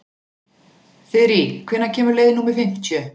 Þyrí, hvenær kemur leið númer fimmtíu?